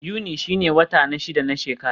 Yuni shine wata na shida na shekara.